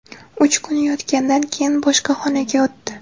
Uch kun yotganidan keyin boshqa xonaga o‘tdi.